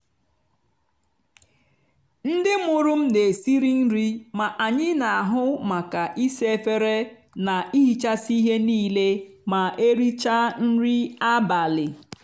ndị mụrụ m na esiri nri ma anyị n'ahu maka isa efere na ihichasị ihe niile ma erichaa nri abalị.